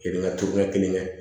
Kelen ŋa kelen kɛ kelen kɛ